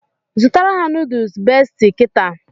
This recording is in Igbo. Zụtara ha nuduls Besti now!